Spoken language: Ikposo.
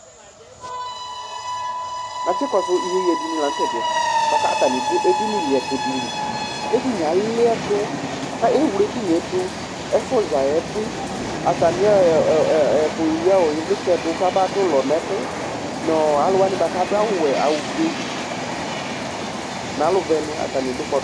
Ataŋi ɖʋ ɛɖìní liɛtʋ ɖìlí Ɛɖìní aliɛtu Ɛwle ɛɖìníeɖʋ, ƒuzaɛ bi Alʋwani aɖu awu fʋe ŋu ɔwɛ ŋu alufʋeni Ataŋi ɖʋ kpɔɖu